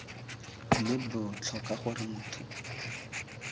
mme b tlhoka gore motho